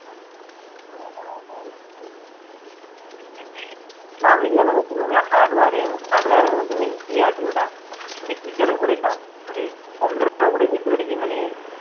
না আমি যেটা বলছি মানে Hardwaring hardware এর মধ্যে main কি আছে মানে ওটা কিসের উপরে কাজ, মানে computer এর উপরে বুঝতে পেরেছি মানে